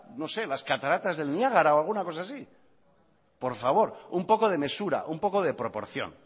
no sé las cataratas del niágara o alguna cosa así por favor un poco de mesura un poco de proporción